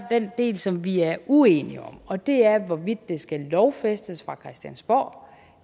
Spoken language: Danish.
den del som vi er uenige om og det er hvorvidt det skal lovfæstes fra christiansborg